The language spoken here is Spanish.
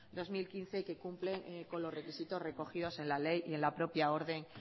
dos mil quince y que cumple con los requisitos recogidos en la ley y en la propia orden